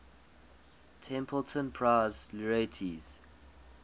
templeton prize laureates